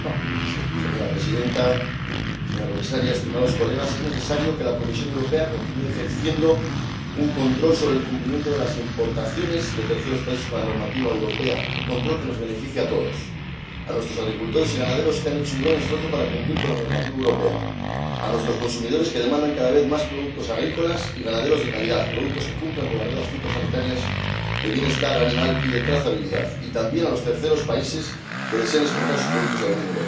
Señora Presidenta, señora Comisaria, estimados colegas, es necesario que la Comisión Europea continúe ejerciendo un control sobre el cumplimiento de las importaciones de terceros países con la normativa europea, un control que nos beneficie a todos a nuestros agricultores y ganaderos, que han hecho un gran esfuerzo para cumplir con la normativa europea, a nuestros consumidores, que demandan cada vez más productos agrícolas y ganaderos de calidad, productos que cumplan con las reglas fitosanitarias de bienestar animal y de trazabilidad, y, también, a los terceros países que desean exportar sus productos a la Unión Europea.